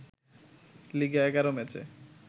লিগে ১১ ম্যাচে